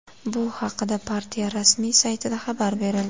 Bu haqda partiya rasmiy saytida xabar berildi .